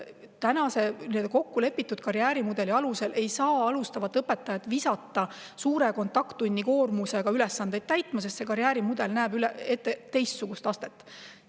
Kokkulepitud karjäärimudeli kohaselt ei saa alustavat õpetajat täitma suure kontakttunnikoormusega ülesandeid, sest karjäärimudel näeb ette teistsugust astet.